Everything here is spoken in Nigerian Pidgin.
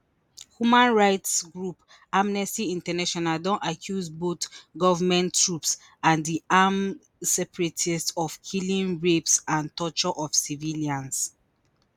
human rights group amnesty international don accuse both goment troops and di armed separatists of killings rapes and torture of civilians